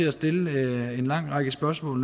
at stille en lang række spørgsmål